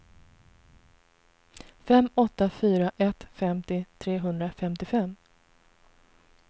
fem åtta fyra ett femtio trehundrafemtiofem